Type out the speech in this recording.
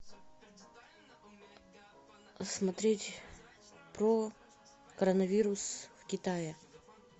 смотреть про коронавирус в китае